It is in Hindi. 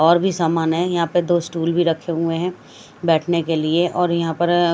और भी सामान है यहाँ पर दो स्टूल भी रखे हुए है बेठने के लिए और यहाँ पर अ--